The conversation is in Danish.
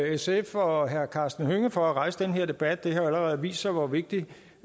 sf og herre karsten hønge for at rejse den her debat det har jo allerede vist sig hvor vigtig